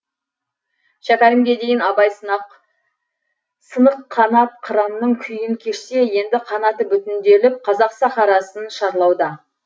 шәкәрімге дейін абай сынық қанат қыранның күйін кешсе енді қанаты бүтінделіп қазақ сахарасын шарлауда